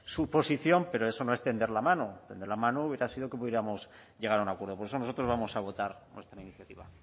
su posición pero eso no es tender la mano tender la mano hubiera sido que pudiéramos llegar a un acuerdo por eso nosotros vamos a votar nuestra iniciativa